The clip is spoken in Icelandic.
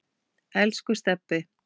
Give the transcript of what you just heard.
Elsku Stebbi.